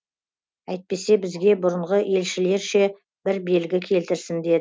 әйтпесе бізге бұрынғы елшілерше бір белгі келтірсін